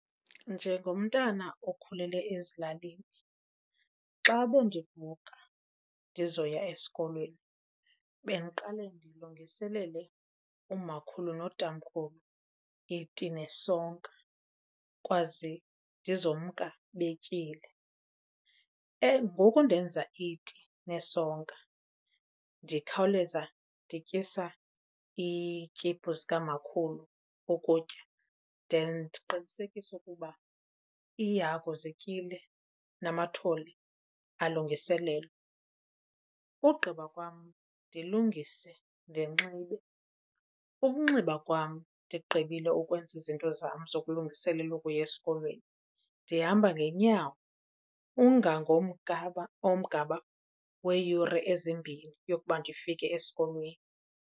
Njengomntana okhulele ezilalini xa bendivuka ndizoya esikolweni bendiqale ndilungiselele umakhulu notamkhulu iti nesonka ukwaze ndizomka betyile. Ngoku ndenza iti nesonka ndikhawuleza ndityisa iityiphu zikamakhulu ukutya then ndiqinisekise ukuba iihagu zityile namathole alungiselelwe. Ugqiba kwam ndilungise ndinxibe. Ukunxiba kwam ndigqibile ukwenza izinto zam zokulungiselela ukuya esikolweni, ndihamba ngeenyawo umgama weeyure ezimbini yokuba ndifike esikolweni.